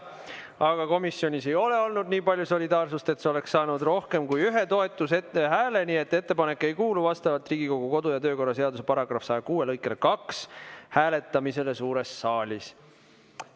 Aga komisjonis ei ole olnud nii palju solidaarsust, et see oleks saanud rohkem kui ühe toetushääle, nii et ettepanek ei kuulu vastavalt Riigikogu kodu‑ ja töökorra seaduse § 106 lõikele 2 hääletamisele suures saalis.